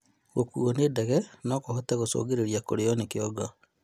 Gũkuuo nĩ ndege nokũhote gũcũngĩrĩria kũrio ni kĩongo